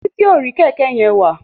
Titi o rí kéké yén wá.